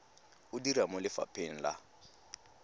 o dira mo lefapheng la